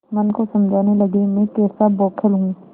मन को समझाने लगेमैं कैसा बौखल हूँ